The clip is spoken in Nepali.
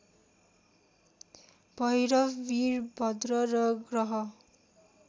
भैरव वीरभद्र र ग्रह